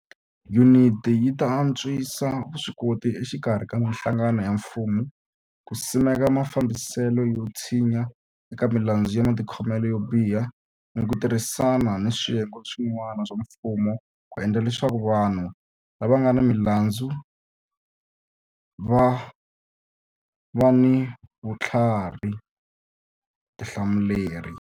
Yuniti yi ta antswisa vuswikoti exikarhi ka mihlangano ya mfumo ku simeka mafambiselo yo tshinya eka milandzu ya matikhomelo yo biha ni ku tirhisana ni swiyenge swi n'wana swa mfumo ku endla leswaku vanhu lava nga ni milandzu va va ni vuthlari tihlamuleri.